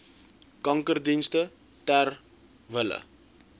kankerdienste ter wille